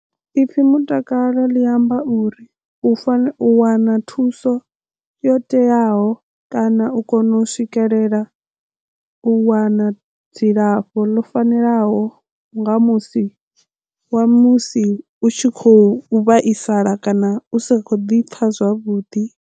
Ipfhi mutakalo ḽi amba uri u fanela u wana thuso yo teaho kana u kona u swikelela u wana dzilafho ḽo fanelaho nga musi wa musi u tshi khou vhaisala kana u sa kho ḓi pfha zwavhuḓi.